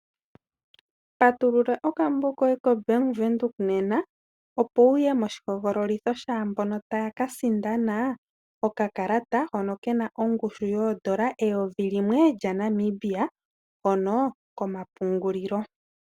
Patulula okambo koye koBank Windhoek nena , opo wuye moshihogololitho shaambono taya ka sindana okakalata hono kena oongushu N$1000, hono komapungulilo.